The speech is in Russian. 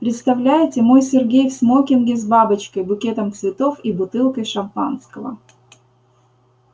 представляете мой сергей в смокинге с бабочкой букетом цветов и бутылкой шампанского